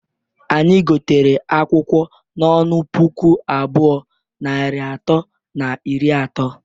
Anyi gotere akwụkwọ n'ọnụ puku abụọ, narị atọ na iri ato.